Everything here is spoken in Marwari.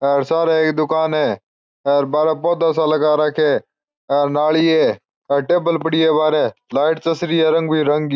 हेर सारे एक दुकान है हेर बाहरे पौधा सा लगा राखिया है हेर नाली है हे टेबल पड़ी है बाहरे लाइट चस रही है रंग बिरंगी।